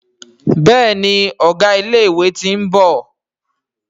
Béèni Ọgá ilé ìwé t'in bò